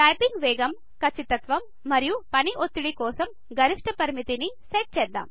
type వేగం ఖచ్చితత్వం మరియు పనిఒత్తిడి కోసం గరిష్ఠ పరిమితిని సెట్ చేద్దాం